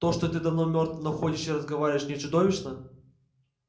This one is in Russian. то что ты давно мёртв но ходишь и разговариваешь не чудовищно